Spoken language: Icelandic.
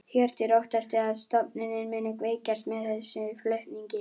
Hjörtur: Óttastu að stofnunin muni veikjast með þessum flutningum?